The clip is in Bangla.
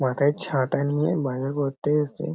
মাথায় ছাতা নিয়ে বাজার করতে এসছে।